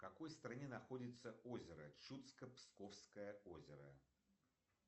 в какой стране находится озеро чудско псковское озеро